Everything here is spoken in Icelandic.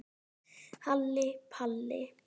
Halli Palli.